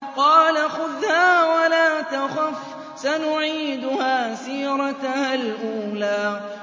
قَالَ خُذْهَا وَلَا تَخَفْ ۖ سَنُعِيدُهَا سِيرَتَهَا الْأُولَىٰ